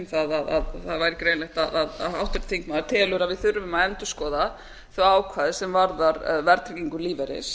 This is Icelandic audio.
það að það væri greinilegt að háttvirtur þingmaður telur að við þurfum að endurskoða þau ákvæði sem varða verðtryggingu lífeyris